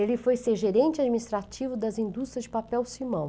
Ele foi ser gerente administrativo das indústrias de papel-simão.